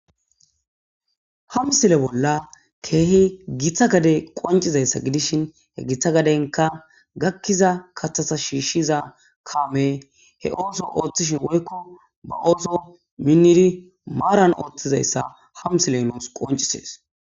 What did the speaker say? Ha msile bolla keehi githa gade qoncizayssa gidishin he githa gadenka gakkiza kathasa shiishshiza kaame he ooso ooththishin woykko ba ooso minniri maaran ooththizayssa ha msilenoos qoncisees.